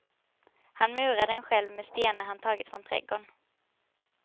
Han murar den själv, med stenar han tagit från trädgården.